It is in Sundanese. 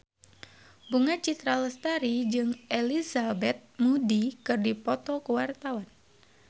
Bunga Citra Lestari jeung Elizabeth Moody keur dipoto ku wartawan